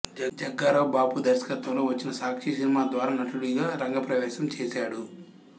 జగ్గారావు బాపు దర్శకత్వంలో వచ్చిన సాక్షి సినిమా ద్వారా నటుడిగా రంగప్రవేశం చేశాడు